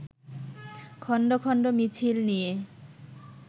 খন্ড খন্ড মিছিল নিয়ে